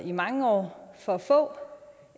i mange år for for